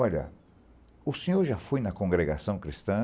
Olha, o senhor já foi na congregação cristã?